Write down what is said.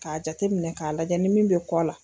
K'a jateminɛ k'a lajɛ ni min bɛ kɔ la.